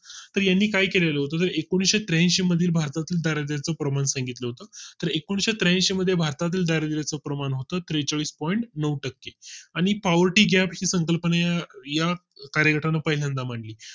तर यांनी काय केलेलं होत एकोशे त्र्याऐंशी भरतील दारिद्याचे promotion प्रमाण घेतलं होत तर त्रेचाळीस point नऊ टक्के आणि poverty gap या संकल्पने या कार्यक्रमा ला पहिल्यांदा मान ली